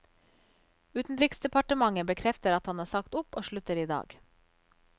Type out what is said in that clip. Utenriksdepartementet bekrefter at han har sagt opp og slutter i dag.